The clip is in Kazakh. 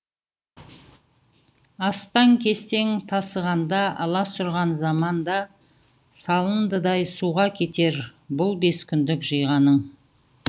астаң кестең тасығанда аласұрған заманда салындыдай суға кетер бұл бес күндік жиғаның